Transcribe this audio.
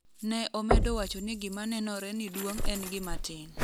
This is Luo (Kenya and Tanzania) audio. ne omedo wacho ni gima nenore ni duong' en gima tin